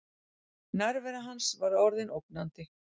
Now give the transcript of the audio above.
Nærvera hans var orðin ógnandi.